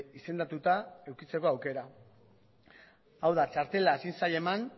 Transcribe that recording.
izendatuta edukitzeko aukera hau da txartela ezin zaie eman